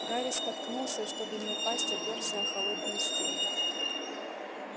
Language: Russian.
гарри споткнулся и чтобы не упасть оперся о холодную стену